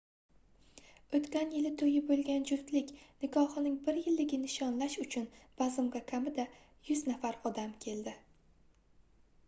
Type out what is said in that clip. oʻtgan yili toʻyi boʻlgan juftlik nikohining bir yilligini nishonlash uchun bazmga kamida 100 nafar odam keldi